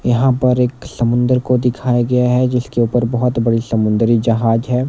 यहाँ पर एक समुंदर को दिखाया गया है जिसके ऊपर बहोत बड़े समुंदरी जहाज हैं।